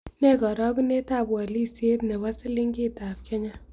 Ne karogunetap walisiet ne po silingitap kenya